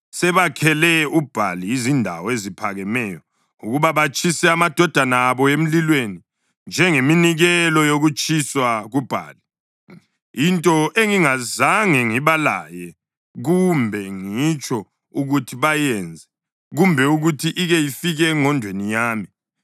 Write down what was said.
Sebakhele uBhali izindawo eziphakemeyo ukuba batshise amadodana abo emlilweni njengeminikelo yokutshiswa kuBhali, into engingazange ngibalaye kumbe ngitsho ukuthi bayenze, kumbe ukuthi ike ifike engqondweni yami.